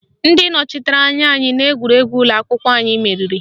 Ndị nọchitere anya anyị n'egwuregwu ụlọakwụkwọ anyị meriri